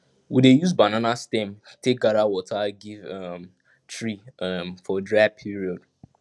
we dey use banana stem take gather water give um tree um for dry period